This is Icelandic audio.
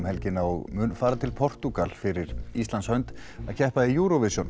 helgina og mun fara til Portúgal fyrir Íslands hönd að keppa í júróvisjón